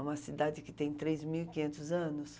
É uma cidade que tem três mil e quinhentos anos.